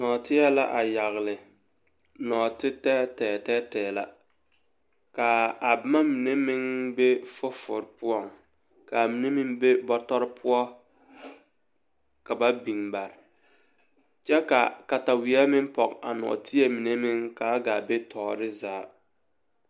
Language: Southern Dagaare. Nɔɔteɛ la a yaɡle nɔɔtetɛɛtɛɛɛ la ka a boma mine meŋ be fofowoori poɔ ka a mine meŋ be bɔtɔre poɔ ka ba biŋ bare kyɛ ka kataweɛ meŋ pɔɡe a nɔɔteɛ mine meŋ ka a ɡaa be tɔɔre zaa.